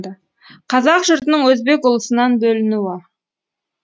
қазақ жұртының өзбек ұлысынан бөлінуі